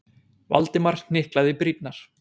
Valdimar hnyklaði brýnnar.